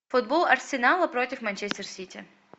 футбол арсенала против манчестер сити